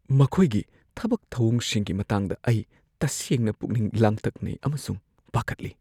ꯃꯈꯣꯏꯒꯤ ꯊꯕꯛ-ꯊꯧꯑꯣꯡꯁꯤꯡꯒꯤ ꯃꯇꯥꯡꯗ ꯑꯩ ꯇꯁꯦꯡꯅ ꯄꯨꯛꯅꯤꯡ ꯂꯥꯡꯇꯛꯅꯩ ꯑꯃꯁꯨꯡ ꯄꯥꯈꯠꯂꯤ꯫